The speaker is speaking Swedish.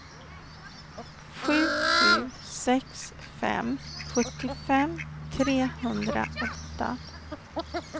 sju sju sex fem sjuttiofem trehundraåtta